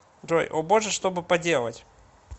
джой о боже что бы поделать